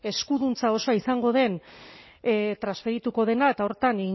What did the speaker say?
eskuduntza osoa izango den transferituko dena eta horretan